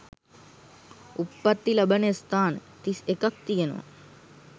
උප්පත්ති ලබන ස්ථාන තිස් එකක් තියෙනවා.